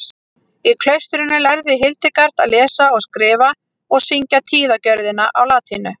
í klaustrinu lærði hildegard að lesa og skrifa og syngja tíðagjörðina á latínu